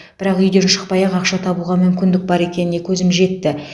бірақ үйден шықпай ақ ақша табуға мүмкіндік бар екеніне көзім жетті